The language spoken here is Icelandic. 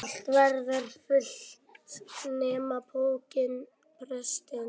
Allt verður fyllt nema pokinn prestsins.